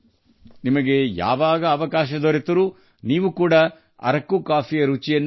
ನಿಮಗೆ ಅವಕಾಶ ಸಿಕ್ಕಾಗ ಅರಕು ಕಾಫಿಯನ್ನು ಸವಿಯಲೇಬೇಕು